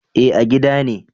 Eh a gida ne